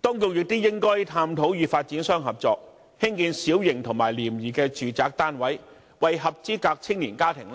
當局亦應該探討與發展商合作，興建小型和廉宜的住宅單位，為合資格的青年家庭